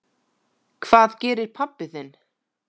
Hvað gerir pabbi þinn?